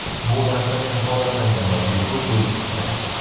Bu narsa kafolatlangan va bepul bo‘lishi kerak.